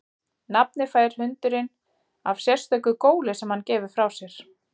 Nafnið fær hundurinn af sérstöku góli sem hann gefur frá sér.